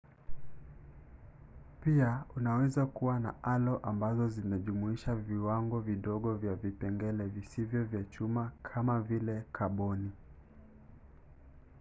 pia unaweza kuwa na alo ambazo zinajumuisha viwango vidogo vya vipengele visivyo vya chuma kamavile kaboni